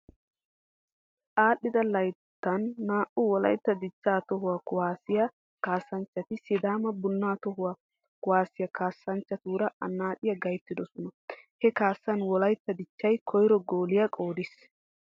Aadhdhida layttan nu wolaytta dichcha toho kuwaasssiya kaassanchchati sidaama bunnaa toho kuwaassiya kaassanchchatuura annaaciya gayttidosona. He kaassan wolaytta dichchay koyro gooliya qoodissiis.